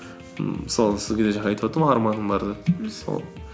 ммм мысалы сізге де жаңа айтыватырмын ғой арманым бар деп сол